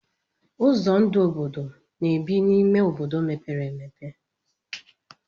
Ụzọ ndụ obodo na-ebi n'ime obodo mepere emepe.